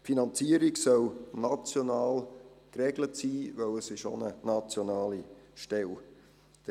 Die Finanzierung soll national geregelt sein, da es sich um eine nationale Stelle handelt.